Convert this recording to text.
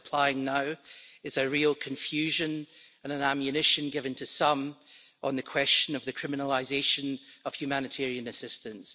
What is applying now is a real confusion and an ammunition given to some on the question of the criminalisation of humanitarian assistance.